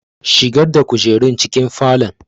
Shigar da kujerun cikin falon!